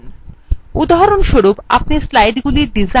উদাহরণস্বরূপ আপনি slidesগুলির design বা নকশা পরিবর্তন করতে পারেন